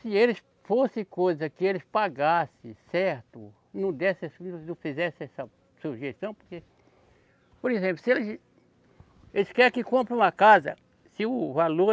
Se eles fosse coisa que eles pagasse certo, não desse não fizesse essa sujeição, porque, por exemplo, se eles, eles querem que compre uma casa, se o valor